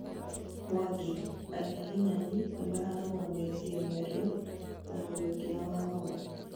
Mwangi: agiginyani nĩmarũgamĩtie mĩario na Muriuki na Wahome